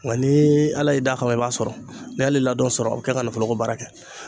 Nka ni ala y'i d'a kan i b'a sɔrɔ n'i y'ale ladon sɔrɔ a bɛ kɛ ka nafoloko baara kɛ